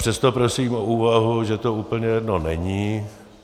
Přesto prosím o úvahu, že to úplně jedno není.